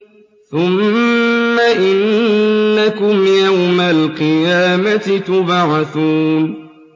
ثُمَّ إِنَّكُمْ يَوْمَ الْقِيَامَةِ تُبْعَثُونَ